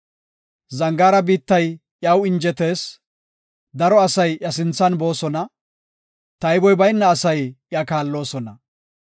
Zangaara biittay iyaw injetees; daro asay iya sinthan boosona; tayboy bayna asay iya kaalloosona.